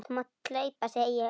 Þú mátt hlaupa, segi ég.